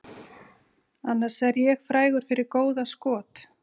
Annars er ég frægur fyrir góða skot